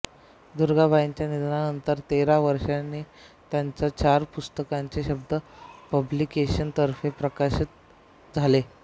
दुर्गाबाईंच्या निधनानंतर तेरा वर्षांनी त्यांच्या चार पुस्तकांचे शब्द पब्लिकेशनतर्फे प्रकाशन झाले